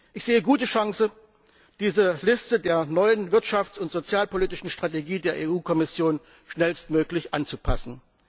Ich sehe gute Chancen, diese Liste der neuen wirtschafts und sozialpolitischen Strategie der EU Kommission schnellstmöglich anzupassen.